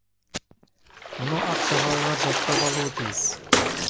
мұны ақ жағалылар жаттап алуы тиіс